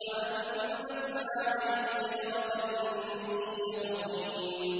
وَأَنبَتْنَا عَلَيْهِ شَجَرَةً مِّن يَقْطِينٍ